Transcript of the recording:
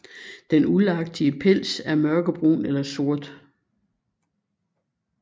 Den uldagtige pels er mørkebrun eller sort